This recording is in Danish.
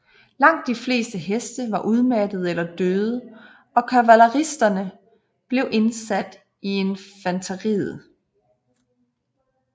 Langt de fleste heste var udmattede eller døde og kavaleristerne blev indsat i infanteriet